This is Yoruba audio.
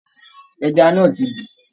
Ẹja náà ti dí.